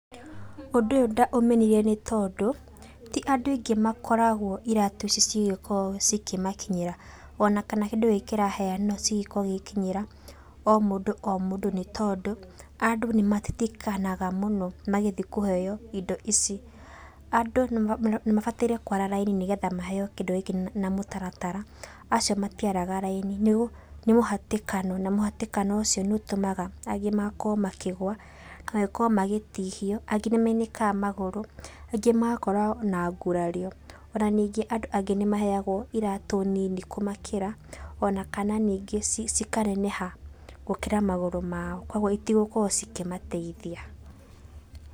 Ũndũ ũyũ ndaũmenire nĩ tondũ, ti andũ aingĩ makoragwo iratũ ici cigĩkoro cikĩmakinyĩra. Ona kana kĩndũ gĩkĩ kĩraheanwo cigĩkorwo igĩkinyĩra o mũndũ o mũndũ nĩ tondũ, andũ nĩ matitikanaga mũno magĩthi kũheo indo ici. Andũ nĩ mabataire kũara raini nĩ getha maheo kĩndũ gĩkĩ na mũtaratara. Acio matiaraga raini nĩ mũhatĩkano. Na mũhatĩkano ũcio nĩ ũtũmaga angĩ makorwo makigũa, na makorwo magĩtihio, angĩ nĩ mainĩkaga magũrũ, angĩ magakorwo na ngurario. Ona ningĩ andũ angĩ nĩ maheagwo iratũ nini kũmakĩra, ona kana ningĩ cikaneneha gũkĩra magũrũ mao. Kũguo citigũkorwo cikĩmateithia.